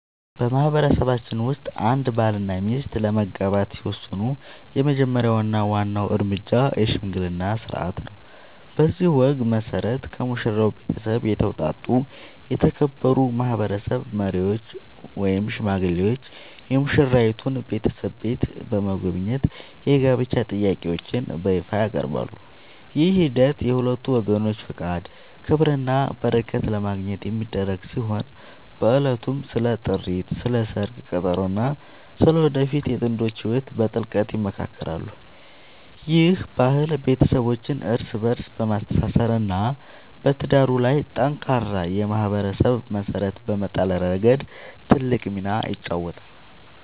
በማህበረሰባችን ውስጥ አንድ ባልና ሚስት ለመጋባት ሲወስኑ የመጀመሪያው እና ዋናው እርምጃ **የሽምግልና ሥርዓት** ነው። በዚህ ወግ መሠረት፣ ከሙሽራው ቤተሰብ የተውጣጡ የተከበሩ ማህበረሰብ መሪዎች ወይም ሽማግሌዎች የሙሽራይቱን ቤተሰብ ቤት በመጎብኘት የጋብቻ ጥያቄያቸውን በይፋ ያቀርባሉ። ይህ ሂደት የሁለቱን ወገኖች ፈቃድ፣ ክብርና በረከት ለማግኘት የሚደረግ ሲሆን፣ በዕለቱም ስለ ጥሪት፣ ስለ ሰርግ ቀጠሮ እና ስለ ወደፊቱ የጥንዶቹ ህይወት በጥልቀት ይመካከራሉ። ይህ ባህል ቤተሰቦችን እርስ በእርስ በማስተሳሰር እና በትዳሩ ላይ ጠንካራ የማህበረሰብ መሰረት በመጣል ረገድ ትልቅ ሚና ይጫወታል።